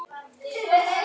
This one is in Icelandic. Gerið þetta, bændur!